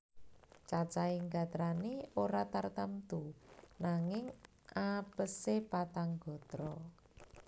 Cacahing gatrané ora tartamtu nanging apese patang gatra